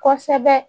Kosɛbɛ